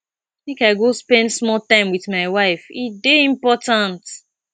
make i go spend small time wit my wife e dey important